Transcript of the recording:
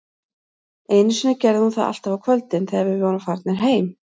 Einu sinni gerði hún það alltaf á kvöldin, þegar við vorum farnir heim